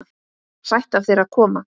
Sætt af þér að koma.